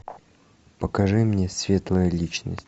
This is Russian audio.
покажи мне светлая личность